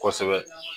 Kosɛbɛ